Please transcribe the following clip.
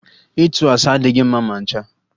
Ịtụ asị adịghị mma ma ncha